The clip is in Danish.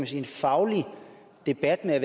sige faglig debat med